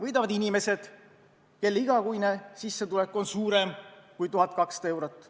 Võidavad inimesed, kelle igakuine sissetulek on suurem kui 1200 eurot.